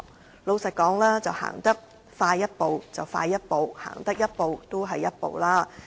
坦白說，如果可以走快一步就快一步，多走一步就一步。